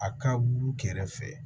A ka buru kɛrɛfɛ